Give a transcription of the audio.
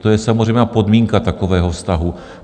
To je samozřejmá podmínka takového vztahu.